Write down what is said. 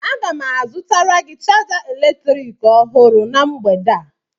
Aga m azụtara gị chaja eletrik ọhụrụ na mgbede a